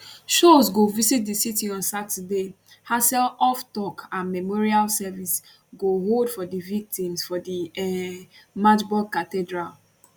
scholz go visit di city on saturday haseloff tok and memorial service go hold for di victims for di um magdeburg cathedral